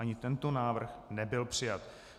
Ani tento návrh nebyl přijat.